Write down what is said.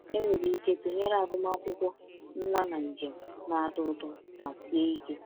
Enwere ike tụnyere agụmakwụkwọ nwa na njem na-atọ ụtọ ma sie ike.